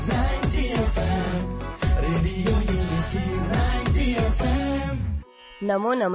radio Unity ninety F